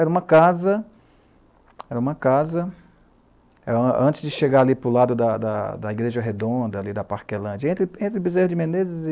Era uma casa... Era uma casa... Antes de chegar ali para o lado da, da, da Igreja Redonda, ali da Parquelândia, entre Biserra de Menezes e...